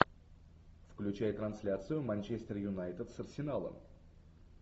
включай трансляцию манчестер юнайтед с арсеналом